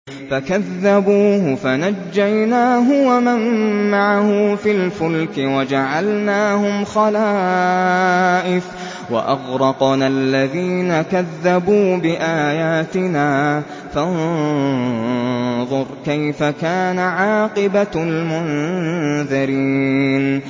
فَكَذَّبُوهُ فَنَجَّيْنَاهُ وَمَن مَّعَهُ فِي الْفُلْكِ وَجَعَلْنَاهُمْ خَلَائِفَ وَأَغْرَقْنَا الَّذِينَ كَذَّبُوا بِآيَاتِنَا ۖ فَانظُرْ كَيْفَ كَانَ عَاقِبَةُ الْمُنذَرِينَ